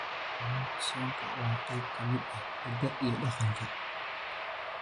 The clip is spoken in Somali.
Kalluunka soonka waa qayb ka mid ah hiddaha iyo dhaqanka.